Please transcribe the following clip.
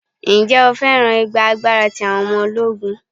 Ǹjẹ́ o féràn ìgba agbára ti àwọn ọmọ ológun?